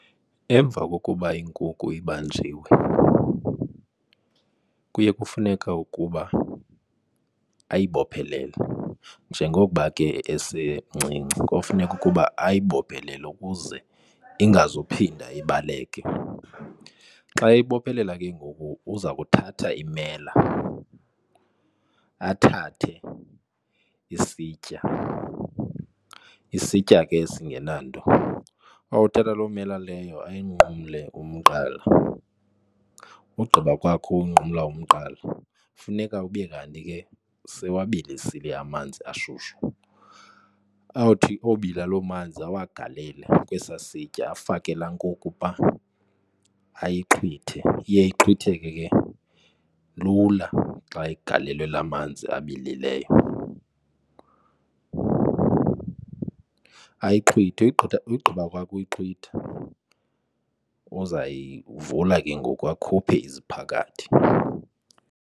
Emva kokuba inkukhu ibanjiwe kuye kufuneka ukuba ayibophelele njengokuba ke esemncinci kofuneka ukuba ayibophelele ukuze ingazuphinda ibaleke. Xa eyibophelela ke ngoku uza kuthatha imela, athathe isitya, isitya ke esingenanto. Awuthatha loo mela leyo uyinqumle umqala ugqiba kwakho unqumla umqala funeka ube kanti ke sewuwabilisile amanzi ashushu. Awuthi obila loo manzi awagalele kwesaa sitya afake la nkukhu phaa ayixhwithe. Iye ixhwitheke ke lula xa igalelwe la manzi abilileyo. Ayixhwithe ugqiba kwakhe ukuyixhwitha uza yivula ke ngoku akhuphe iziphakathi.